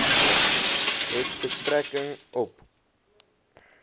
het betrekking op